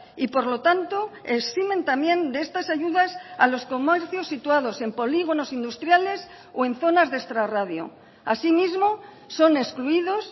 y por lo tanto eximen también de estas ayudas a los comercios situados en polígonos industriales o en zonas de extrarradio asimismo son excluidos